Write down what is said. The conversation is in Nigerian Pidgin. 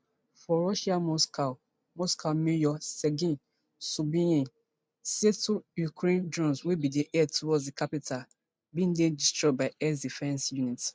for russia moscow moscow mayor sergei sobyanin say two ukrainian drones wey bin dey head towards di capital bin dey destroyed by air defence units